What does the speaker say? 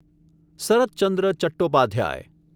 Surat Chandra Chattopadhyay